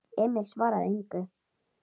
Emil svaraði engu.